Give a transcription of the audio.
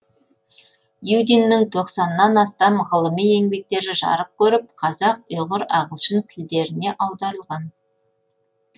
юдиннің тоқсаннан астам ғылыми еңбектері жарық көріп қазақ ұйғыр ағылшын тілдеріне аударылған